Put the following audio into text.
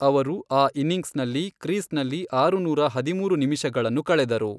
ಅವರು ಆ ಇನ್ನಿಂಗ್ಸ್ನಲ್ಲಿ ಕ್ರೀಸ್ನಲ್ಲಿ ಆರುನೂರ ಹದಿಮೂರು ನಿಮಿಷಗಳನ್ನು ಕಳೆದರು.